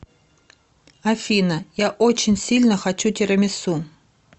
афина я очень сильно хочу тирамису